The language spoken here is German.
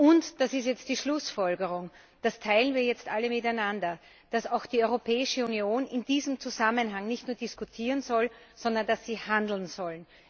Und, das ist jetzt die Schlussfolgerung, das teilen wir jetzt alle miteinander, dass die Europäische Union in diesem Zusammenhang nicht nur diskutieren soll, sondern dass sie handeln soll.